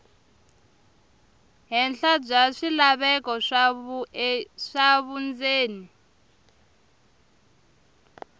henhla bya swilaveko swa vundzeni